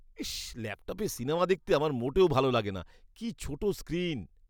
ইস্‌! ল্যাপটপে সিনেমা দেখতে আমার মোটেও ভালো লাগে না। কি ছোট স্ক্রীন!